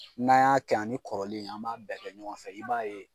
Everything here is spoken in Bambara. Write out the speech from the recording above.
N'an y'a kɛ yan ani kɔrɔlen an b'a bɛɛ kɛ ɲɔgɔn fɛ i b'a ye.